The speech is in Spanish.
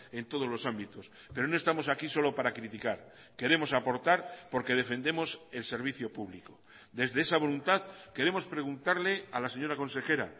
en todos los ámbitos pero no estamos aquí solo para criticar queremos aportar porque defendemos el servicio público desde esa voluntad queremos preguntarle a la señora consejera